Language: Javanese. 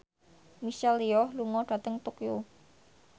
Michelle Yeoh lunga dhateng Tokyo